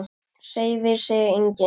Hreyfir sig enginn?